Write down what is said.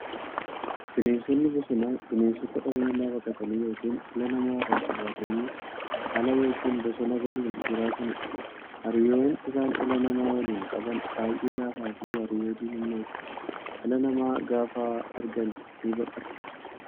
Bineensonni bosonaa bineensota dhala namaa baqatanii yookiin dhala namaa irraa fagaatanii ala yookiin bosona galuun jiraataniidha. Hariiroon isaan dhala namaa waliin qaban baay'ee laafaafi hariiroo diinummaati. Dhala namaa gaafa argan ni baqatu.